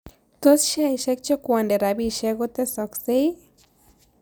Tos' sheaiisiek chekwoondee rabisiek kotessaksek ii